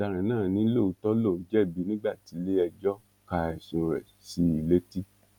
ọ̀daràn náà ni lóòótọ lòun jẹ̀bi nígbà tíléẹjọ́ ka ẹ̀sùn rẹ̀ sí i létí